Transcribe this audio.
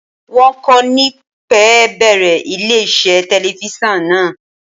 Wọ́n kò ní pẹ́ bẹ̀rẹ̀ ilé iṣẹ́ telifíṣàn náà.